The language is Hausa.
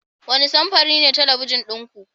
Wane samfuri ne talabijin ɗin ku?